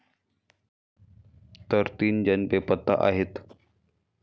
तर तीन जण बेपत्ता आहेत.